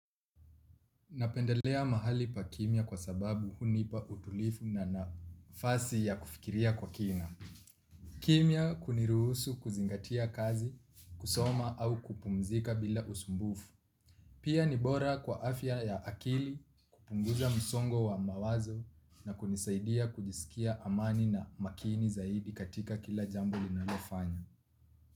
Napendelea mahali pa kimya kwa sababu hunipa utulivu na nafasi ya kufikiria kwa kina. Kimya kuniruhusu kuzingatia kazi, kusoma au kupumzika bila usumbufu. Pia ni bora kwa afya ya akili kupunguza msongo wa mawazo na kunisaidia kujisikia amani na makini zaidi katika kila jambo linalofanya.